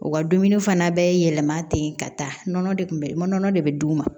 U ka dumuni fana bɛɛ yɛlɛma ten ka taa nɔnɔ de kun bɛ nɔnɔ de bɛ d'u ma